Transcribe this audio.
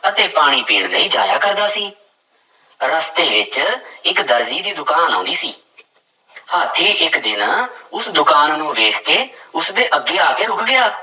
ਅਤੇ ਪਾਣੀ ਪੀਣ ਲਈ ਜਾਇਆ ਕਰਦਾ ਸੀ, ਰਸਤੇ ਵਿੱਚ ਇੱਕ ਦਰਜੀ ਦੀ ਦੁਕਾਨ ਆਉਂਦੀ ਸੀ ਹਾਥੀ ਇੱਕ ਦਿਨ ਉਸ ਦੁਕਾਨ ਨੂੰ ਵੇਖ ਕੇ ਉਸਦੇ ਅੱਗੇ ਆ ਕੇ ਰੁੱਕ ਗਿਆ।